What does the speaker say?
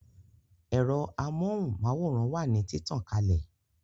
Ẹ̀rọ amóhùn máwòrán wà ní títàn kalè